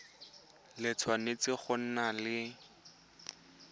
le tshwanetse go nna le